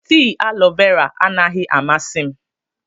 Tii alọ vera anaghị amasị m.